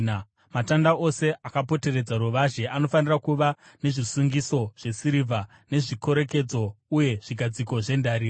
Matanda ose akapoteredza ruvazhe anofanira kuva nezvisungiso zvesirivha nezvikorekedzo, uye zvigadziko zvendarira.